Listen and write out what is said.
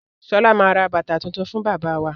Sọlá máa ra bàtà tuntun fún bàbá wa.